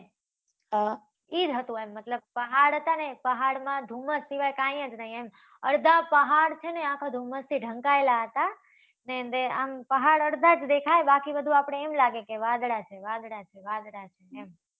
હમ ઈ જ હતુ. મતલબ એમ, પહાડ હતા ને? પહાડમાં ધુમ્મસ સિવાય કાંઈ જ નહીં એમ. અડધા પહાડ છે ને, આખા ધુમ્મસથી ઢંકાયેલા હતા. પહાડ આમ અડધા જ દેખાય. બાકી બધુ આપણને એમ લાગે કે વાદળાંં જ છે, વાદળાં જ છે, વાદળાં જ છે. એમ